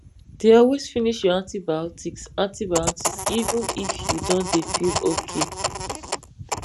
dey always finish your antibiotics antibiotics even if you don dey feel okay